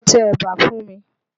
Lọ tẹ ẹ̀bà fún mi!